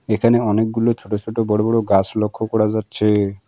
এখানে অনেকগুলো ছোট ছোট বড়ো বড়ো গাছ লক্ষ্য করা যাচ্ছে।